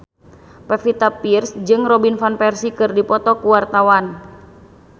Pevita Pearce jeung Robin Van Persie keur dipoto ku wartawan